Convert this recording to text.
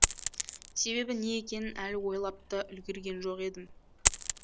себебі не екенін әлі ойлап та үлгерген жоқ едім